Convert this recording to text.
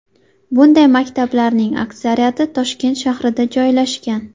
Bunday maktablarning aksariyati Toshkent shahrida joylashgan.